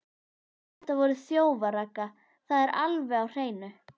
Þetta voru þjófar, Ragga, það er alveg á hreinu.